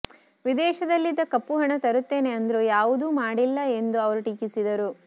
ವಿದೇಶದಲ್ಲಿದ್ದ ಕಪ್ಪು ಹಣ ತರುತ್ತೇನೆ ಅಂದ್ರು ಯಾವುದೂ ಮಾಡಿಲ್ಲ ಎಂದು ಅವರು ಟೀಕಿಸಿದರು